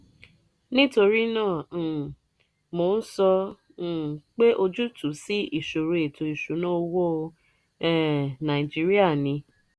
nítorí náà um mo ń sọ um pé ojútùú sí ìṣòro ètò ìṣúnná owó um nàìjíríà ni